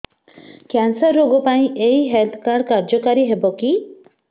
cancer ରୋଗ ପାଇଁ ଏଇ ହେଲ୍ଥ କାର୍ଡ କାର୍ଯ୍ୟକାରି ହେବ କି